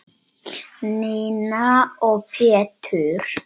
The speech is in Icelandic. Nína og Pétur.